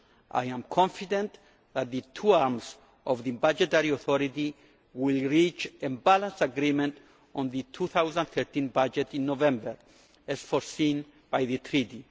I am confident that the two arms of the budgetary authority will reach a balanced agreement on the 2013 budget in November, as foreseen by the Treaty.